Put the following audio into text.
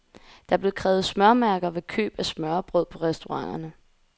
Der blev krævet smørmærker ved køb af smørrebrød på restauranterne.